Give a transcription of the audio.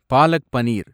palak paneer